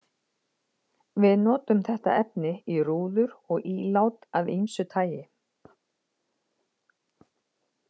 Við notum þetta efni í rúður og ílát af ýmsu tagi.